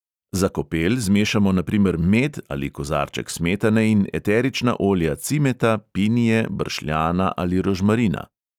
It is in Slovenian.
Za kopel zmešamo na primer med ali kozarček smetane in eterična olja cimeta, pinije, bršljana ali rožmarina.